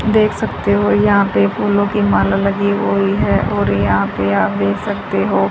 देख सकते हो यहां पे फूलों की माला लगी हुई है और यहां पे आप देख सकते हो--